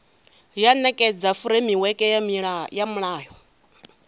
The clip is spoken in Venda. ya nekedza furemiweke ya mulayo